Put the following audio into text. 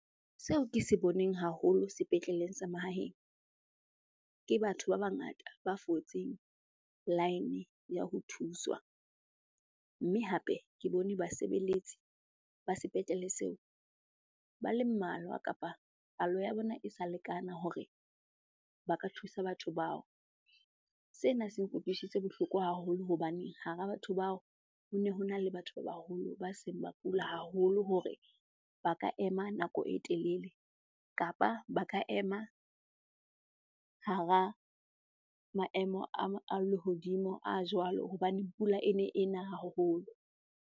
Seo ke se boneng haholo sepetleleng sa mahaheng, ke batho ba bangata ba fotseng laene ya ho thuswa. Mme hape ke bone basebeletsi ba sepetlele seo ba le mmalwa kapa palo ya bona e sa lekana hore ba ka thusa batho bao. Sena se nkutlwisitse bohloko haholo hobaneng hara batho bao ho ne hona le batho ba baholo ba seng ba kula haholo hore ba ka ema nako e telele, kapa ba ka ema hara maemo a lehodimo a jwalo hobane pula e ne e na haholo.